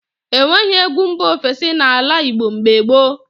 E nweghị egwu mba ofesi n’ala Igbo mgbe gboo.